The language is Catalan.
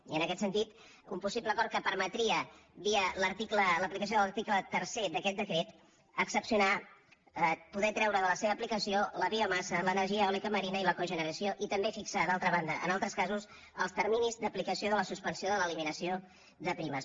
i en aquest sentit un possible acord que permetria via l’aplicació de l’article tercer d’aquest decret poder treure de la seva aplicació la biomassa l’energia eòlica marina i la cogeneració i també fixar d’altra banda en altres casos els terminis d’aplicació de la suspensió de l’eliminació de primes